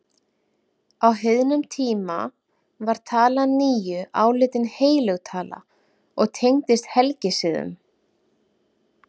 Á heiðnum tíma var talan níu álitin heilög tala og tengdist helgisiðum.